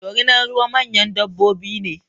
Dorinar ruwa manyan dabbobi ne